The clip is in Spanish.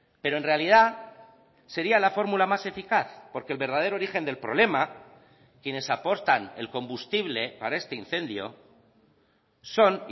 pero en realidad sería la fórmula más eficaz porque el verdadero origen del problema quienes aportan el combustible para este incendio son